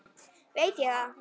veit ég það?